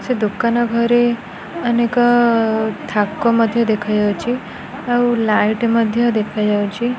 ସେ ଦୋକାନ ଘରେ ଅନେକ ଥାକ ଅ ମଧ୍ୟ ଦେଖାଯାଉଛି ଆଉ ଲାଇଟ୍ ମଧ୍ୟ ଦେଖାଯାଉଛି।